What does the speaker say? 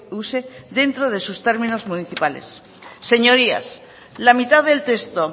use dentro de sus términos municipales señorías la mitad del texto